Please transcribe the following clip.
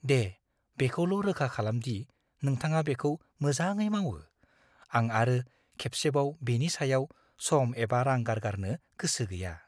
दे, बेखौल' रोखा खालाम दि नोंथाङा बेखौ मोजाङै मावो। आं आरो खेबसेबाव बेनि सायाव सम एबा रां गारगारनो गोसो गैया।